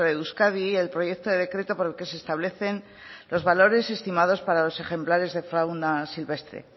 de euskadi el proyecto de decreto por el que se establecen los valores estimados para los ejemplares de fauna silvestre